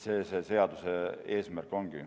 See seaduse eesmärk ongi.